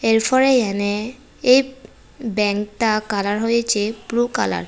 এরপরে এহানে এই ব্যাঙ্কতা কালার হয়েছে ব্লু কালার ।